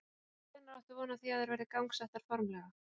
Og hvenær áttu von á því að þær verði gangsettar formlega?